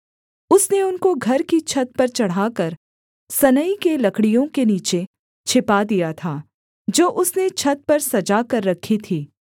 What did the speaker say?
उसने उनको घर की छत पर चढ़ाकर सनई की लकड़ियों के नीचे छिपा दिया था जो उसने छत पर सजा कर रखी थी